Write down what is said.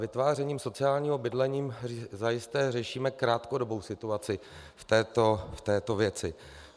Vytvářením sociálního bydlení zajisté řešíme krátkodobou situaci v této věci.